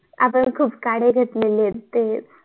अग खूप काडी घेतलेली ये ते